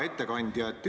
Hea ettekandja!